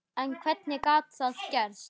En hvernig gat það gerst?